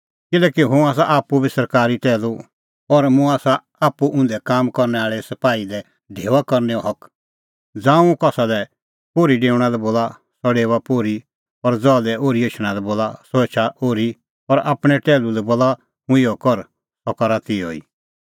किल्हैकि हुंह आसा आप्पू बी सरकारी टैहलू और मुंह आसा आप्पू उंधै काम करनै आल़ै सपाही लै ढेऊआ करनैओ हक ज़ांऊं हुंह कसा लै पोर्ही डेऊणा लै बोला सह डेओआ पोर्ही और ज़हा लै ओर्ही एछणा लै बोला सह एछा ओर्ही और आपणैं टैहलू लै बोला हुंह कि इहअ कर सह करा तिहअ ई